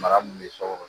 Mara min bɛ so kɔnɔ